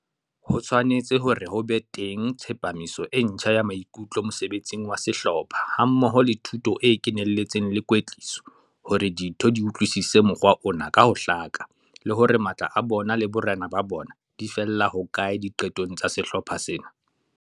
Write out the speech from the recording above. Ho tshwanetse hore ho be teng tshepamiso e ntjha ya maikutlo mosebetsing wa sehlopha hammoho le thuto e kenelletseng le kwetliso hore ditho di utlwisise mokgwa ona ka ho hlaka le hore matla a bona le borena ba bona di fella hokae diqetong tsa sehlopha sena.